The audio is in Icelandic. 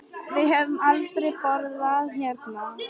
Við höfum aldrei borðað hérna.